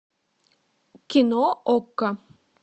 кино окко